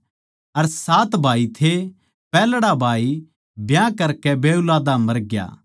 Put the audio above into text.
सात भाई थे पैहल्ड़ा भाई ब्याह करकै बेऊलादा मरग्या